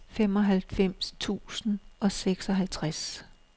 femoghalvfems tusind og seksoghalvtreds